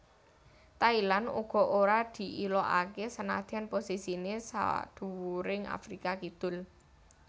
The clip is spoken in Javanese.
Thailand uga ora diilokaké senadyan posisiné sadhuwuring Afrika Kidul